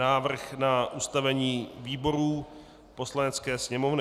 Návrh na ustavení výborů Poslanecké sněmovny